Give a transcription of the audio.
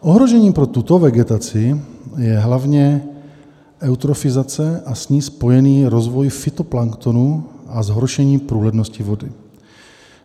Ohrožením pro tuto vegetaci je hlavně eutrofizace a s ní spojený rozvoj fytoplanktonu a zhoršení průhlednosti vody.